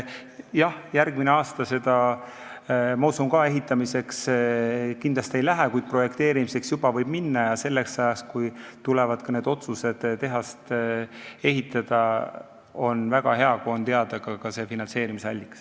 Jah, järgmine aasta, ma usun ka, selle ehitamiseks kindlasti ei lähe, kuid projekteerimiseks juba võib minna ja selleks ajaks, kui tuleb otsus tehast ehitada, on väga hea, kui on teada ka finantseerimisallikas.